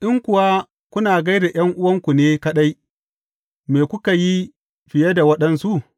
In kuwa kuna gai da ’yan’uwanku ne kaɗai, me kuke yi fiye da waɗansu?